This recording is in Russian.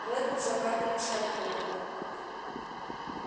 реддл закатывался от хохота